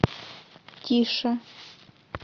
тише